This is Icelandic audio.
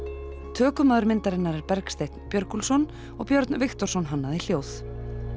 tökumaður myndarinnar er Bergsteinn Björgúlfsson og Björn Viktorsson hannaði hljóð